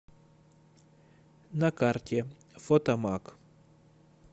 на карте фотомаг